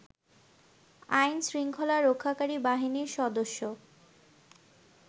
আইনশৃঙ্খলা রক্ষাকারী বাহিনীর সদস্য